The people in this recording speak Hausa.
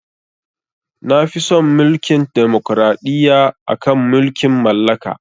Nafi son Mulkin demokraɗiyya akan mulkin mallaka.